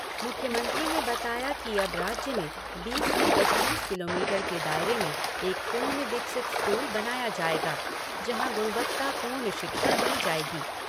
मुख्यमंत्री ने बताया कि अब राज्य में बीस से पच्चीस किलोमीटर के दायरे में एक पूर्ण विकसित स्कूल बनाया जाएगा, जहाँ गुणवत्ता पूर्ण शिक्षा दी जाएगी।